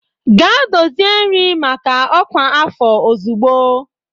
Gaa dozie nri maka ọkwa afọ ozugbo!